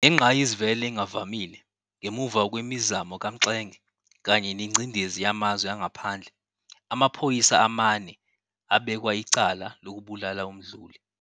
Ngengqayizivele engavamile, ngemuva kwemizamo kaMxenge, kanye nengcindezi yamazwe angaphandle, amaphoyisa amane abekwa icala lokubulala uMduli.